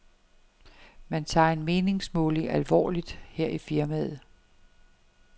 Man tager en meningsmåling alvorligt her i firmaet.